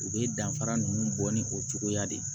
U bɛ danfara ninnu bɔ ni o cogoya de ye